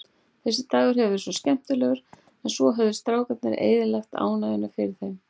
Þessi dagur hafði verið svo skemmtilegur, en svo höfðu strákarnir eyðilagt ánægjuna fyrir þeim.